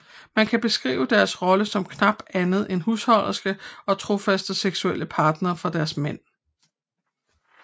Man kan beskrive deres rolle som knap andet end husholdersker og trofaste seksuelle partnere for deres mænd